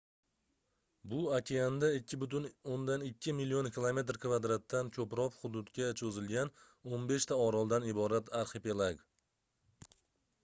bu okeanda 2,2 million km2 dan koʻproq hududga choʻzilgan 15 ta oroldan iborat arxipelag